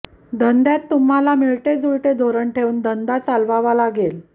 धंद्यात तुम्हाला मिळते जुळते धोरण ठेऊन धंदा चालवावा लागेल